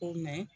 Ko